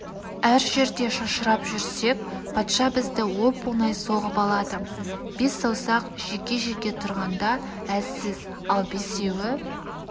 әр жерде шашырап жүрсек патша бізді оп-оңай соғып алады бес саусақ жеке-жеке тұрғанда әлсіз ал бесеуі